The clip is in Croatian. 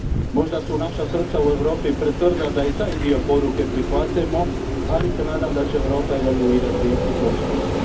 Možda su naša srca u Europi pretvrda da i taj dio poruke prihvatimo, ali se nadam da će Europa evoluirati u tom smislu.